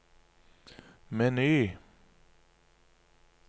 meny